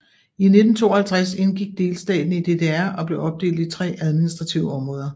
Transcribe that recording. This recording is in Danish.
I 1952 indgik delstaten i DDR og blev opdelt i tre administrative områder